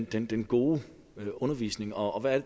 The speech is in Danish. den den gode undervisning og og hvad